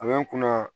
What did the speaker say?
A bɛ n kunna